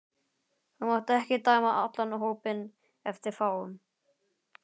Þú mátt ekki dæma allan hópinn eftir fáum.